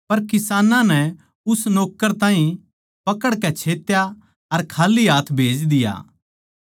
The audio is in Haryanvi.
पर किसानां नै उस नौक्कर ताहीं पकड़कै छेत्या अर खाल्ली हाथ भेज दिया